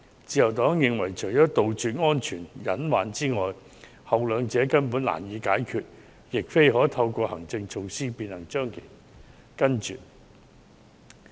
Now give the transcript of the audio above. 自由黨認為，除了杜絕安全隱患外，後兩者根本難以解決，亦非透過行政措施所能杜絕。